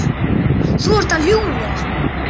Þú ert að ljúga!